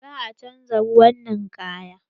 Za a canza ruwan ninkayan.